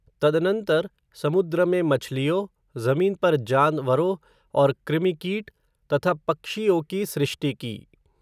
तदनंतर, समुद्र में मछलियों ज़मीन पर जानवरों और कृमिकीट, तथा पक्षियों की सृष्टि की